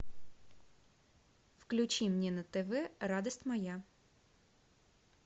включи мне на тв радость моя